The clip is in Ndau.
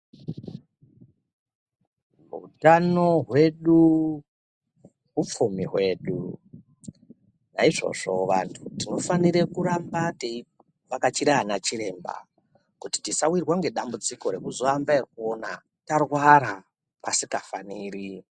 Hutano hwedu hupfumi hwedu , naizvozvo vantu tinofanire kuramba teivhakachira ana chiremba kuti tosawirwa nedambudziko rekuzoamba ekuona tarwara pasingafaniri